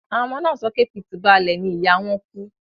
Àwọn ọmọ náà sọ pé pitibale ni ìyá wọn kú